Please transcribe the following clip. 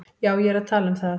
Já, ég er að tala um það.